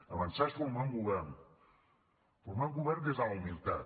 avançar és formar un govern formar un govern des de la humilitat